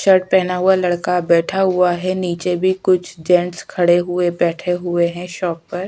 shirt पहना हुआ लड़का बैठा हुआ है नीचे भी कुछ जेंट्स खड़े हुए बैठे हुए है शॉप पर --